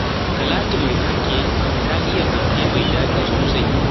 Talatu mai fanke fa ta iya fanke mai daɗi sosai